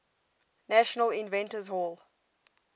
national inventors hall